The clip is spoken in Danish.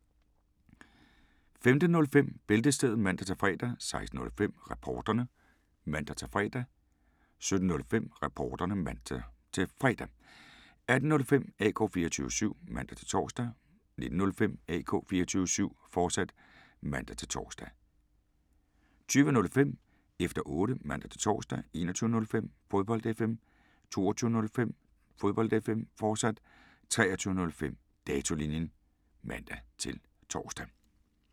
15:05: Bæltestedet (man-fre) 16:05: Reporterne (man-fre) 17:05: Reporterne (man-fre) 18:05: AK 24syv (man-tor) 19:05: AK 24syv, fortsat (man-tor) 20:05: Efter Otte (man-tor) 21:05: Fodbold FM 22:05: Fodbold FM, fortsat 23:05: Datolinjen (man-tor)